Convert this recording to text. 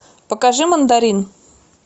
покажи мандарин